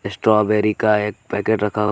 strawberry का एक packet रखा--